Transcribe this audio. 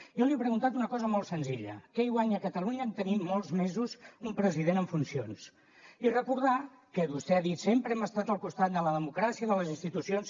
jo li he preguntat una cosa molt senzilla què hi guanya catalunya a tenir molts mesos un president en funcions i recordar que vostè ha dit sempre hem estat al costat de la democràcia i de les institucions